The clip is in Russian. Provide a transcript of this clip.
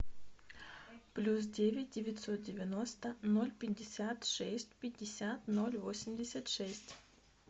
плюс девять девятьсот девяносто ноль пятьдесят шесть пятьдесят ноль восемьдесят шесть